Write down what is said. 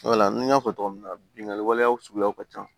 Wala n y'a fɔ cogo min na binkani waleyaw suguyaw ka ca